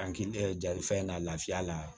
Hakili ja fɛn na lafiya la